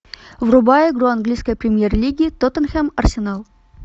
врубай игру английской премьер лиги тоттенхэм арсенал